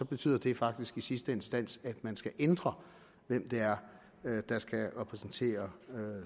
betyder det faktisk i sidste instans at man skal ændre hvem det er der skal repræsentere